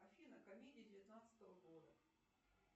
афина комедии девятнадцатого года